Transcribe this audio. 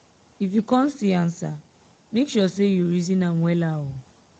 if yu con see ansa mek sure sey you reason am wella o